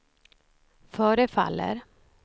förefaller